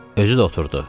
Özü də oturdu.